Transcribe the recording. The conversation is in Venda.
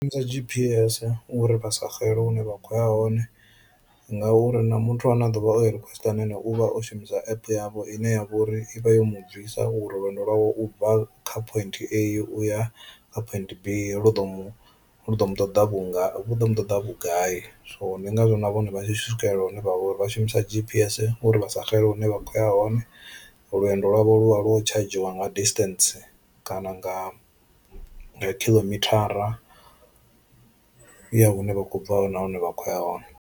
Shumisa G_P_S uri vha sa xele hune vha kho ya hone ngauri na muthu ane a ḓovha o i request ane ane uvha o shumisa app yavho ine yavha uri i vha yo mu bvisa uri lwendo lwawe ubva kha point A u ya kha point B lu ḓo mu lu ḓo mu ṱoḓa vhunga lu ḓo mu ṱoḓa vhugai, so ndi ngazwo na vhone vha tshi swikelela hune vha vha uri vha shumisa G_P_S uri vha sa xele hune vha kho ya hone, lwendo lwavho lu vha lwo tshadzhiwa nga distance kana nga khilomithara ya hune vha khou bva hone na hune vha kho ya hone.